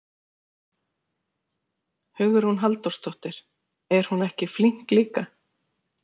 Hugrún Halldórsdóttir: Er hún ekki flink líka?